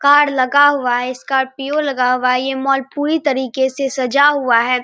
Car लगा हुआ है स्कार्पिओ लगा हुआ है ये मॉल पूरी तरीके से सजा हुआ है।